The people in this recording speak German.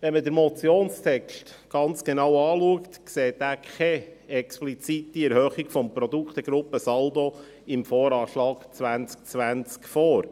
Wenn man den Motionstext ganz genau anschaut, sieht dieser keine explizite Erhöhung des Produktegruppensaldos im VA 2020 vor.